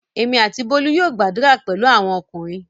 Èmi àti Bólú yóò gbadura pẹ̀lú àwọn ọkùnrin.